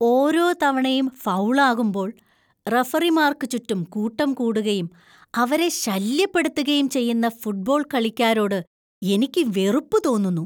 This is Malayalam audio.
ഓരോ തവണയും ഫൗൾ ആകുമ്പോൾ റഫറിമാർക്ക് ചുറ്റും കൂട്ടംകൂടുകയും ,അവരെ ശല്യപ്പെടുത്തുകയും ചെയ്യുന്ന ഫുട്ബോൾ കളിക്കാരോട് എനിക്ക് വെറുപ്പ് തോന്നുന്നു.